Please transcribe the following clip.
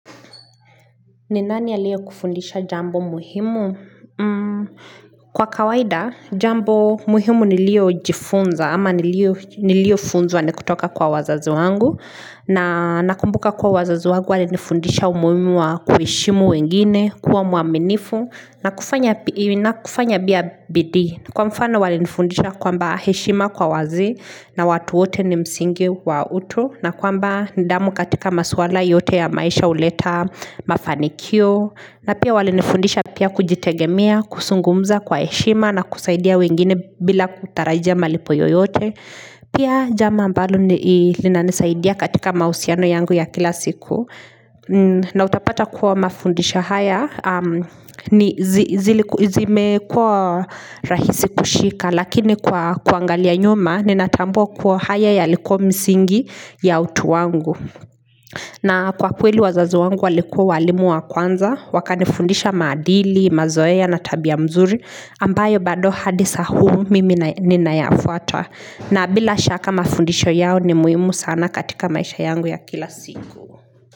Ni nani aliyekufundisha jambo muhimu? Kwa kawaida, jambo muhimu niliojifunza ama niliofunzwa ni kutoka kwa wazazi wangu. Na nakumbuka kuwa wazazi wangu walinifundisha umuimu wa kuheshimu wengine, kuwa mwaminifu na kufanya pia bidii. Kwa mfano walinifundisha kwamba heshima kwa wazee na watu wote ni msingi wa utu. Na kwamba nidamu katika maswala yote ya maisha huleta mafanikio na pia walinifundisha pia kujitegemea, kusungumza kwa heshima na kusaidia wengine bila kutarajia malipo yoyote pia jambo ambalo linanisaidia katika mausiano yangu ya kila siku na utapata kuwa mafundisho haya zimekuwa rahisi kushika lakini kwa kuangalia nyuma ninatambua kuwa haya yalikuwa msingi ya utu wangu na kwa kweli wazazi wangu walikua walimu wa kwanza wakanifundisha maadili, mazoea na tabia mzuri ambayo bado hadi saa huu mimi ninayafuata na bila shaka mafundisho yao ni muimu sana katika maisha yangu ya kila siku.